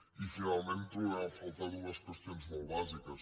i finalment trobem a faltar dues qüestions molt bàsiques